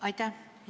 Aitäh!